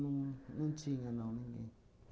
Não não tinha, não, ninguém.